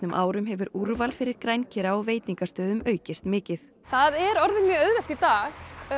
árum hefur úrval fyrir á veitingastöðum aukist mikið það er orðið mjög auðvelt í dag